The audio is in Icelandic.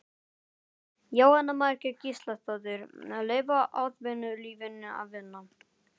Jóhanna Margrét Gísladóttir: Leyfa atvinnulífinu að vinna?